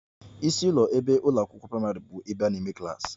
Isi ụlọ n'ụlọ akwụkwọ praịmarị bụ ebe a na-eme klas